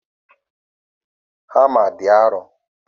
Hama dị arọ